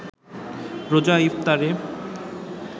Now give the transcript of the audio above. রোজার ইফতারে